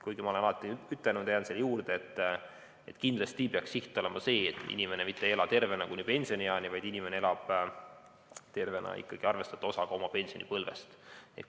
Kuigi ma olen alati ütelnud ja jään selle juurde, et kindlasti peaks siht olema see, et inimene mitte ei ela tervena ainult kuni pensionieani, vaid elab tervena ikkagi ka arvestatava osa oma pensionipõlvest.